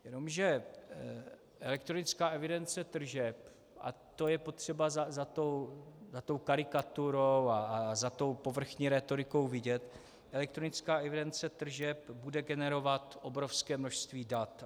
Jenomže elektronická evidence tržeb, a to je potřeba za tou karikaturou a za tou povrchní rétorikou vidět, elektronická evidence tržeb bude generovat obrovské množství dat.